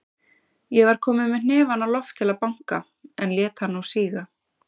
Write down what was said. Ég var kominn með hnefann á loft til að banka, en lét hann nú síga.